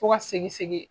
Fo ka segin segin